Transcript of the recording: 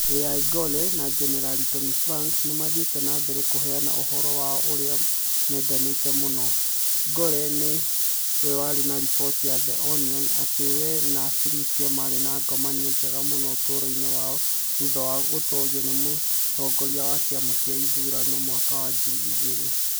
Al Gore na Jenerali Tommy Franks nĩ maathire na mbere kũheana ũhoro wao ũrĩa mendete mũno (Gore nĩ we warĩ na riboti ya The Onion atĩ we na Tipper maarĩ na ngomanio njega mũno ũtũũro-inĩ wao thutha wa gũtoorio nĩ mũtongoria wa kĩama kĩa ithurano mwaka wa ngiri igĩrĩ).